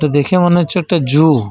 ইটা দেখা মনে হচ্ছে একটা জু ।